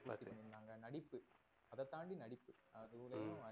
அத தாண்டி நடிப்பு அதோடையும் ஹம்